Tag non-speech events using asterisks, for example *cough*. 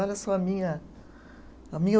Olha só a minha a minha *unintelligible*